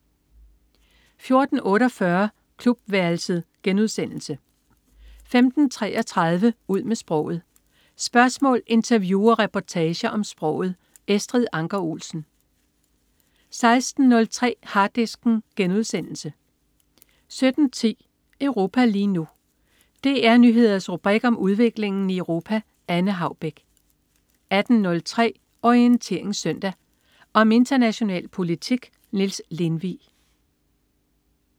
14.48 Klubværelset* 15.33 Ud med sproget. Spørgsmål, interview og reportager om sproget. Estrid Anker Olsen 16.03 Harddisken* 17.10 Europa lige nu. DR Nyheders rubrik om udviklingen i Europa. Anne Haubek 18.03 Orientering Søndag. Om international politik. Niels Lindvig